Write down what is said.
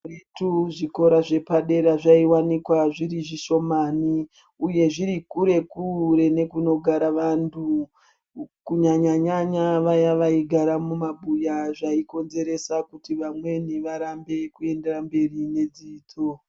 Kutiwo dai zvikora zvepadera zvaiwanikwa zviri zvishomani uye zviri kure kure nekunogara vantu kunyañya nyanya vaya vaigara mumabuya zvaikonzeresa kuti vamweni varambe kuendera mberi nedzidzo.